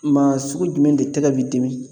Maa sugu jumɛn de tɛgɛ bi dimi